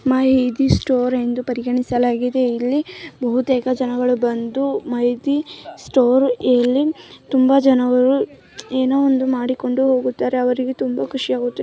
ಇದು ಮೈ ದೀ ಸ್ಟೋರ್‌ ಎಂದು ಪರಿಗಣಿಸಲಾಗಿದೆ ಇಲ್ಲಿ ಬಹುತೇಕ ಜನಗಳು ಬಂದು ಮೈ ದೀ ಸ್ಟೋರ್‌ನಲ್ಲಿ ತುಂಬಾ ಜನರು ಏನೋ ಒಂದು ಮಾಡಿಕೊಂಡು ಹೋಗುತ್ತಾರೆ ಅವರಿಗೆ ತುಂಬಾ ಖುಷಿಯಾಗುತ್ತೆ.